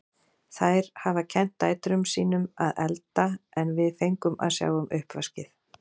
Þær hafa kennt dætrum sín um að elda en við fengum að sjá um uppvaskið.